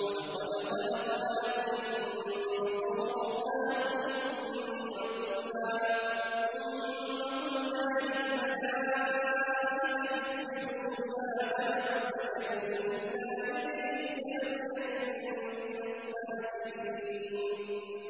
وَلَقَدْ خَلَقْنَاكُمْ ثُمَّ صَوَّرْنَاكُمْ ثُمَّ قُلْنَا لِلْمَلَائِكَةِ اسْجُدُوا لِآدَمَ فَسَجَدُوا إِلَّا إِبْلِيسَ لَمْ يَكُن مِّنَ السَّاجِدِينَ